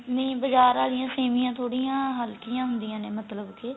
ਨਹੀਂ ਬਜਾਰ ਵਾਲਿਆਂ ਸੇਮੀਆਂ ਥੋੜੀ ਜੀ ਹਲਕੀਆਂ ਹੁੰਦੀਆਂ ਨੇ ਮਤਲਬ ਕੇ